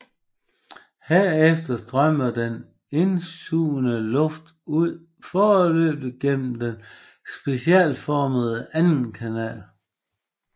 Herefter strømmer den indsugede luft nu fuldstændigt gennem den specielt formede anden kanal